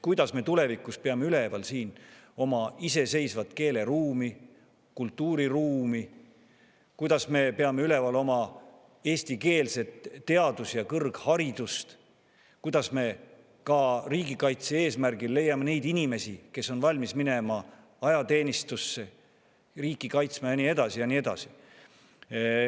Kuidas me tulevikus peame üleval siin oma iseseisvat keeleruumi, kultuuriruumi, kuidas me peame üleval oma eestikeelset teadust ja kõrgharidust, kuidas me riigikaitse eesmärgil leiame neid inimesi, kes on valmis minema ajateenistusse riiki kaitsma?